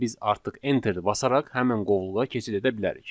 Və biz artıq enteri basaraq həmin qovluğa keçid edə bilərik.